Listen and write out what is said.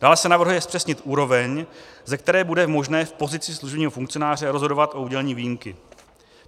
Dále se navrhuje zpřesnit úroveň, ze které bude možné v pozici služebního funkcionáře rozhodovat o udělení výjimky.